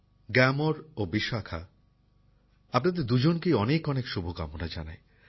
গ্যামর ও বিশাখা আপনাদের দুজনকেই অনেক অনেক শুভকামনা জানাই